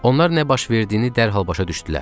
Onlar nə baş verdiyini dərhal başa düşdülər.